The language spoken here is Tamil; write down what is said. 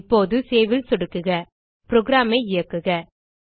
இப்போது சேவ் ல் சொடுக்குக புரோகிராம் ஐ இயக்குக